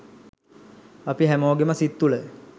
අපි හැමෝගෙම සිත් තුල